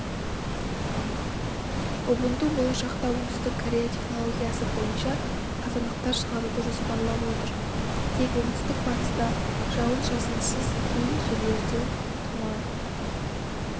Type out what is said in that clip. убунту болашақта оңтүстік корея технологиясы бойынша қазандықтар шығаруды жоспарлап отыр тек оңтүстік-батыста жауын-шашынсыз кей жерлерде тұман